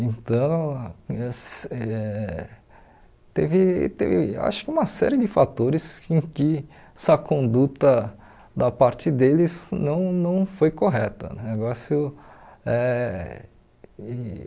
Então, esse eh teve teve acho que uma série de fatores em que essa conduta da parte deles não não foi correta. O negócio eh foi